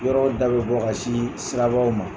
Yɔrɔw da bɛ bɔ ka sin sirabaw ma.